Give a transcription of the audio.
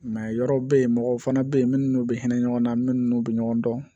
yɔrɔw be yen mɔgɔw fana be yen minnu be hinɛ ɲɔgɔn na minnu be ɲɔgɔn dɔn